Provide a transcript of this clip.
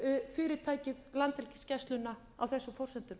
ríkisfyrirtækið landhelgisgæsluna á þessum forsendum